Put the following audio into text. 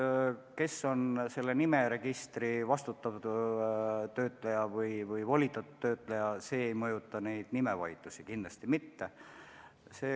See, kes on nimeregistri vastutav või volitatud töötleja, ei mõjuta nimevaidlusi kohe kindlasti mitte.